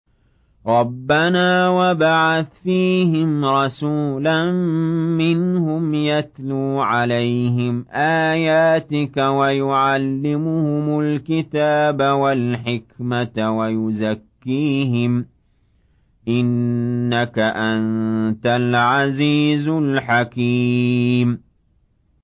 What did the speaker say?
رَبَّنَا وَابْعَثْ فِيهِمْ رَسُولًا مِّنْهُمْ يَتْلُو عَلَيْهِمْ آيَاتِكَ وَيُعَلِّمُهُمُ الْكِتَابَ وَالْحِكْمَةَ وَيُزَكِّيهِمْ ۚ إِنَّكَ أَنتَ الْعَزِيزُ الْحَكِيمُ